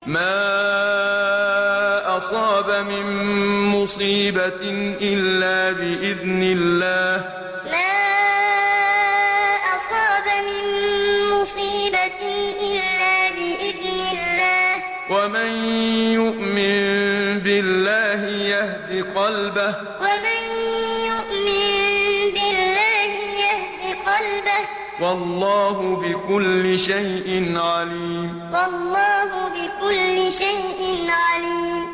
مَا أَصَابَ مِن مُّصِيبَةٍ إِلَّا بِإِذْنِ اللَّهِ ۗ وَمَن يُؤْمِن بِاللَّهِ يَهْدِ قَلْبَهُ ۚ وَاللَّهُ بِكُلِّ شَيْءٍ عَلِيمٌ مَا أَصَابَ مِن مُّصِيبَةٍ إِلَّا بِإِذْنِ اللَّهِ ۗ وَمَن يُؤْمِن بِاللَّهِ يَهْدِ قَلْبَهُ ۚ وَاللَّهُ بِكُلِّ شَيْءٍ عَلِيمٌ